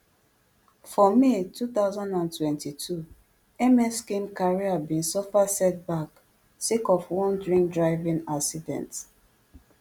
for may two thousand and twenty-two ms kim career bin suffer setback sake of one drinkdriving accident